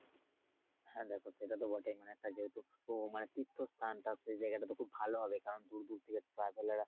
হ্যা দেখো সেটাতো বটেই মানে ওটা যেহেতু তীর্থস্থান তা হচ্ছে এই জায়গা টা তো খুব ভালো হবে। কারন দূর দূর থেকে traveller আসে।